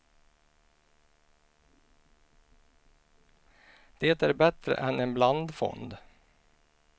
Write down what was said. Det är bättre än en blandfond.